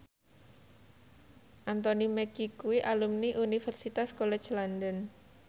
Anthony Mackie kuwi alumni Universitas College London